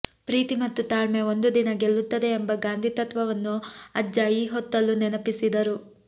ಪ್ರೀತಿ ಮತ್ತು ತಾಳ್ಮೆ ಒಂದು ದಿನ ಗೆಲ್ಲುತ್ತದೆ ಎಂಬ ಗಾಂಧಿ ತತ್ವವನ್ನು ಅಜ್ಜ ಈ ಹೊತ್ತಲ್ಲೂ ನೆನಪಿಸಿದರು